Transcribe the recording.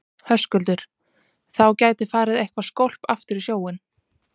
Höskuldur: Þá gæti farið eitthvað skólp aftur í sjóinn?